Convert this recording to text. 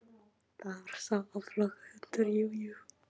Það var sá áflogahundur, jú, jú.